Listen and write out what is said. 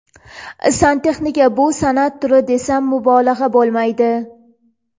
Santexnika bu san’at turi, desam mubolag‘a bo‘lmaydi.